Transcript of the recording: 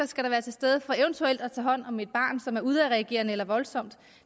skal være til stede for eventuelt at kunne tage hånd om et barn som er udadreagerende eller voldsomt